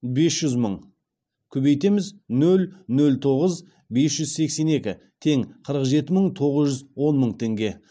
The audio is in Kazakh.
бес жүз мың көбейтеміз нөл нөл тоғыз бес жүз сексен екі тең қырық жеті мың тоғыз жүз он мың теңге